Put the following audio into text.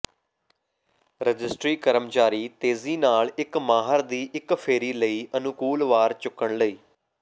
registry ਕਰਮਚਾਰੀ ਤੇਜ਼ੀ ਨਾਲ ਇੱਕ ਮਾਹਰ ਦੀ ਇੱਕ ਫੇਰੀ ਲਈ ਅਨੁਕੂਲ ਵਾਰ ਚੁੱਕਣ ਲਈ